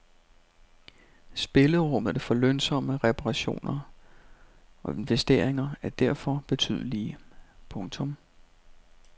Spillerummet for lønsomme reparationer og investeringer er derfor betydelige. punktum